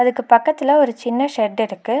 இதுக்கு பக்கத்துல ஒரு சின்ன ஷெட்டு இருக்கு.